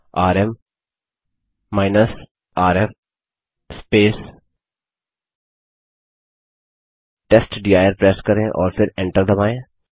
RM rf testdir press करें और फिर एन्टर दबायें